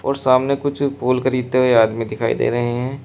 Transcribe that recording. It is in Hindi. और सामने कुछ फूल खरीदते हुए आदमी दिखाई दे रहे हैं।